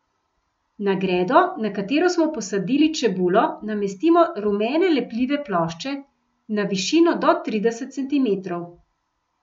Na gredo, na katero smo posadili čebulo, namestimo rumene lepljive plošče, na višino do trideset centimetrov.